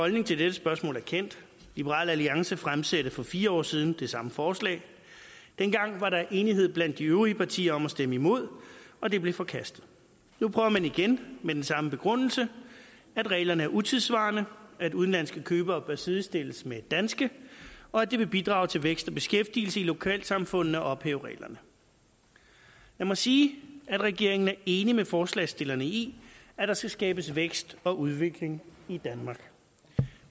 holdning til dette spørgsmål er kendt liberal alliance fremsatte for fire år siden det samme forslag dengang var der enighed blandt de øvrige partier om at stemme imod og det blev forkastet nu prøver man igen med den samme begrundelse at reglerne er utidssvarende at udenlandske købere bør sidestilles med danske og at det vil bidrage til vækst og beskæftigelse i lokalsamfundene at ophæve reglerne lad mig sige at regeringen er enig med forslagsstillerne i at der skal skabes vækst og udvikling i danmark